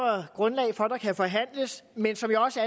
grundlag for at der kan forhandles men som jeg også